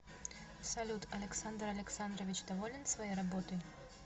салют александр александрович доволен своей работой